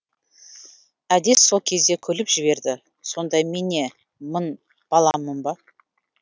әдес сол кезде күліп жіберді сонда мен не мын баламын ба